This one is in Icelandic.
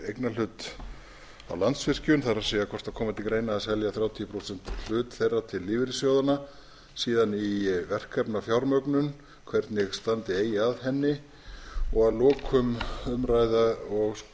það er hvort það komi til greina að selja þrjátíu og fimm prósenta hlut þeirra til lífeyrissjóðanna síðan í verkefnafjármögnun hvernig standa eigi að henni og að lokum að